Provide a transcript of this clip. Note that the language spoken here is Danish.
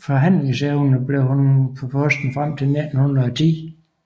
forhandlingsevner forblev hun på posten frem til 1910